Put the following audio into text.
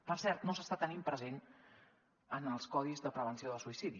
per cert no s’està tenint present en els codis de prevenció del suïcidi